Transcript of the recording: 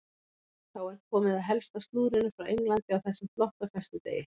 Þá er komið að helsta slúðrinu frá Englandi á þessum flotta föstudegi.